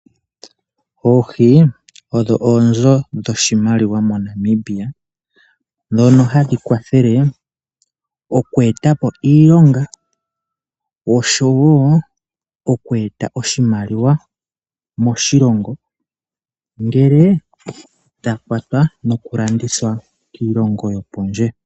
Oohi odho oonzo dho shimaliwa mo Namibia ndhono hadhi kwathele oku etapo iilonga oshowo oku eta oshimaliwa moshilongo ngele dha kwatwa noku landithwa kiilongo yo pondje.